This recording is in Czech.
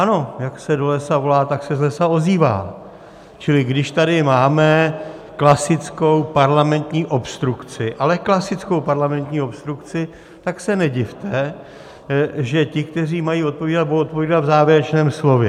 Ano, jak se do lesa volá, tak se z lesa ozývá, čili když tady máme klasickou parlamentní obstrukci, ale klasickou parlamentní obstrukci, tak se nedivte, že ti, kteří mají odpovídat, budou odpovídat v závěrečném slově.